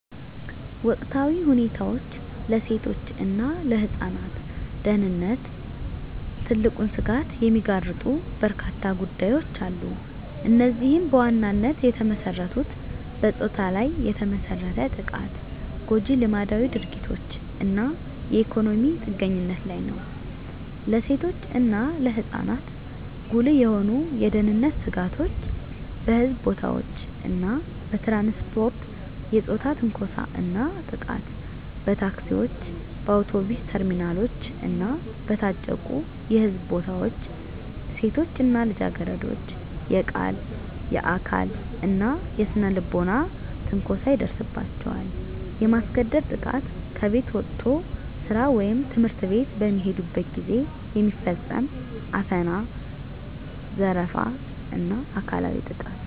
ወቅታዊ ሁኔታ ለሴቶች እና ለህፃናት ደህንነት ትልቁን ስጋት የሚጋርጡ በርካታ ጉዳዮች አሉ። እነዚህም በዋናነት የተመሰረቱት በፆታ ላይ የተመሰረተ ጥቃት፣ ጎጂ ልማዳዊ ድርጊቶች እና የኢኮኖሚ ጥገኝነት ላይ ነው። ለሴቶች እና ለህፃናት ጉልህ የሆኑ የደህንነት ስጋቶች - በሕዝብ ቦታዎች እና በትራንስፖርት የፆታ ትንኮሳ እና ጥቃት በታክሲዎች፣ በአውቶቡስ ተርሚናሎች እና በታጨቁ የሕዝብ ቦታዎች ሴቶች እና ልጃገረዶች የቃል፣ የአካል እና የስነ-ልቦና ትንኮሳ ይደርስባቸዋል። የማስገደድ ጥቃት ከቤት ወጥቶ ስራ ወይም ትምህርት ቤት በሚሄዱበት ጊዜ የሚፈጸም አፈና፣ ዘረፋ እና አካላዊ ጥቃት።